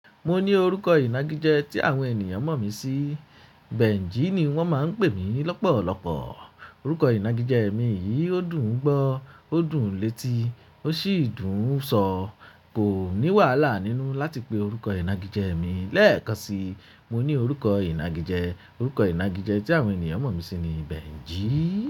Mo ní orúkọ ìnagijẹ tí àwọn ènìyàn mọ̀ mí sí, Benji ni wọ́n máa ń pè mí lọ́pọ̀lọpọ̀. Orúkọ ìnagijẹ mi yìí ó dùn gbọ́, ó dùn létí, ó sì dùn sọ. Kò ní wàhálà nínú láti pe orúkọ ìnagijẹ mi. Lẹ́ẹ̀kan sí i, mo ní orúkọ ìnagijẹ, orúkọ ìnagijẹ tí àwọn ènìyàn mọ̀ mí sí ni Benji.